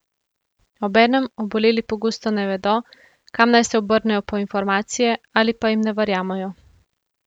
Obenem oboleli pogosto ne vedo, kam naj se obrnejo po informacije ali pa jim ne verjamejo.